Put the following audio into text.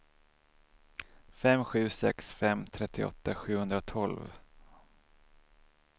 fem sju sex fem trettioåtta sjuhundratolv